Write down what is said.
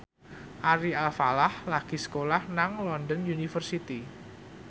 Ari Alfalah lagi sekolah nang London University